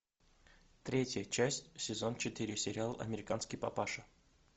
третья часть сезон четыре сериал американский папаша